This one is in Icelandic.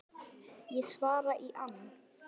Ég svara í ann